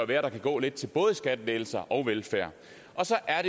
være at der kan gå lidt til både skattelettelser og velfærd og så er